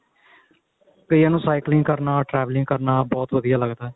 ਕਈਆਂ ਨੂੰ cycling ਕਰਨਾ traveling ਕਰਨਾ ਬਹੁਤ ਵਧੀਆ ਲੱਗਦਾ